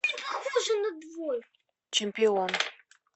чемпион